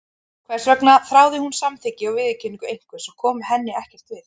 Hvers vegna þráði hún samþykki og viðurkenningu einhvers sem kom henni ekkert við?